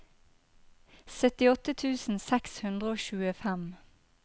syttiåtte tusen seks hundre og tjuefem